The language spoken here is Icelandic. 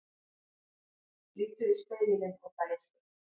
Lítur í spegilinn og dæsir.